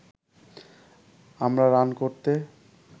আমরা রান করতে